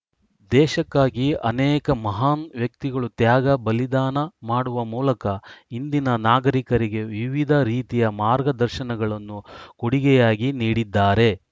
ದೇಶಕ್ಕಾಗಿ ಅನೇಕ ಮಹಾನ್‌ ವ್ಯಕ್ತಿಗಳು ತ್ಯಾಗ ಬಲಿದಾನ ಮಾಡುವ ಮೂಲಕ ಇಂದಿನ ನಾಗರಿಕರಿಗೆ ವಿವಿಧ ರೀತಿಯ ಮಾರ್ಗದರ್ಶನಗಳನ್ನು ಕೊಡುಗೆಯಾಗಿ ನೀಡಿದ್ದಾರೆ